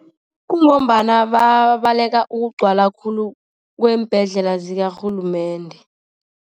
Kungombana bayabaleka ukugcwala khulu kweembhedlela zakarhulumende.